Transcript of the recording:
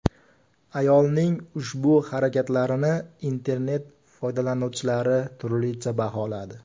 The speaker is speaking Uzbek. Ayolning ushbu harakatlarini internet foydalanuvchilari turlicha baholadi.